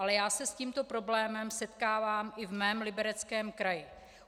Ale já se s tímto problémem setkávám i ve svém Libereckém kraji.